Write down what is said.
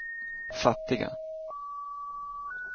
fattiga